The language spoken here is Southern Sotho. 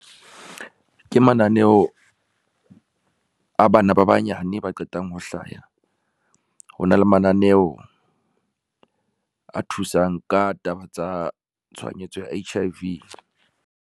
Ke mananeho, a bana ba banyane ba qetang ho hlaya. Ho na le mananeo a thusang ka taba tsa tshwanyetso ya H_I_V.